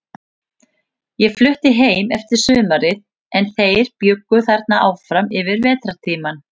Ég flutti heim eftir sumarið, en þeir bjuggu þarna áfram yfir vetrartímann.